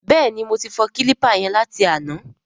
Bẹ́ẹ̀ni, mo ti fọ kílípà yẹn láti àná.